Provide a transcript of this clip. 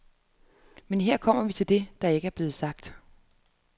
Men her kommer vi til det, der ikke er blevet sagt.